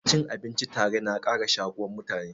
Cin abinci tare na ƙara shakuwan mutane.